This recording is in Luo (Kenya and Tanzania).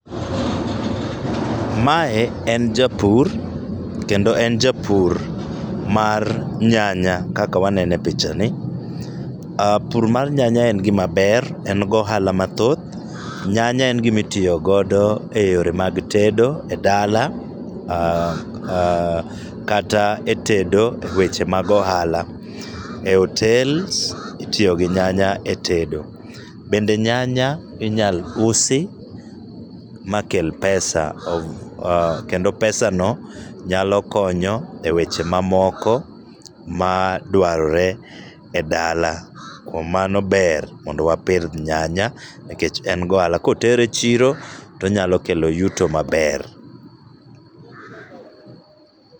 Mae en japur kendo en japur mar nyanya kaka waneno e pichani. Oh pur mar nyanya en gima ber en gi ohala mathoth, nyanya en gima itiyo godo eyore mag tedo edala kata etedo eweche mag ohala. E hotel itiyo gi nyanya etedo. Kendo nyanya inyalo usi makel pesa kendo pesano nyalo konyo eyore mamoko maduarore edala. Kuom mano ber mondo wapidh nyanya nikech en gi ohala. Ka otere chiro to onyalo kelo yuto maber.